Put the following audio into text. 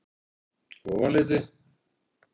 Ofanleiti